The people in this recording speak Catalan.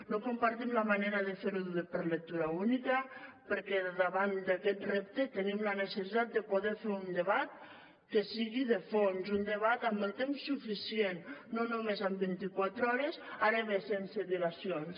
no compartim la manera de fer ho per lectura única perquè davant d’aquest repte tenim la necessitat de poder fer un debat que sigui de fons un debat amb el temps suficient no només amb vint i quatre hores ara bé sense dilacions